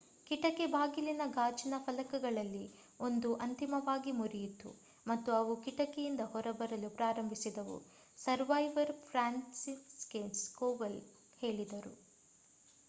ಕಿಟಕಿ ಬಾಗಿಲಿನ ಗಾಜಿನ ಫಲಕಗಳಲ್ಲಿ 1 ಅಂತಿಮವಾಗಿ ಮುರಿಯಿತು ಮತ್ತು ಅವು ಕಿಟಕಿ ಇಂದ ಹೊರಬರಲು ಪ್ರಾರಂಭಿಸಿದವು ಸರ್ವೈವರ್ ಫ್ರಾನ್ಸಿಸ್ಜೆಕ್ ಕೋವಲ್ ಹೇಳಿದರು